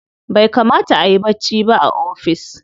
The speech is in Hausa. Bai kamata ayi bacci ba a ofis.